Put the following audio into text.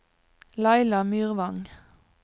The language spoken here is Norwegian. Laila Myrvang